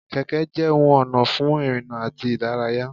Kẹ̀kẹ́ jẹ ohun ona fún ìrìnà àti ìdárayá.